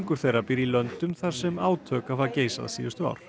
þeirra býr í löndum þar sem átök hafa geisað síðustu ár